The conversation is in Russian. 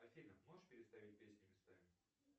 афина можешь переставить песни местами